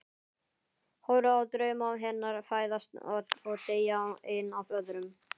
Horfi á drauma hennar fæðast og deyja einn af öðrum.